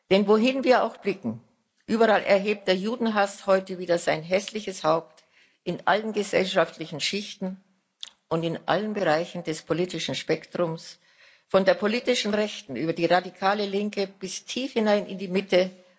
Denn wohin wir auch blicken, überall erhebt der Judenhass heute wieder sein hässliches Haupt in allen gesellschaftlichen Schichten und in allen Bereichen des politischen Spektrums, von der politischen Rechten über die radikale Linke bis tief hinein in die Mitte